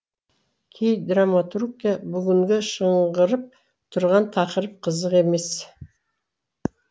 кей драматургке бүгінгі шыңғырып тұрған тақырып қызық емес